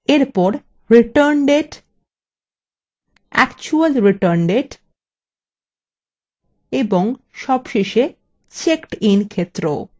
এরপর return date actual return date